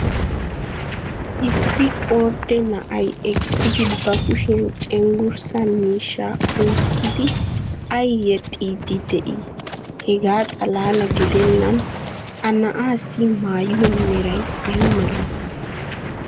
Issi ordde na"ay eqqidi ba kushiyan cenggurssa miishshaa oyqqidi ay yexiidi de'ii? Hegaa xalaala gidennan ha na"aassi maayuwa meray ay malatii?